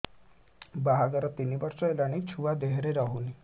ବାହାଘର ତିନି ବର୍ଷ ହେଲାଣି ଛୁଆ ଦେହରେ ରହୁନି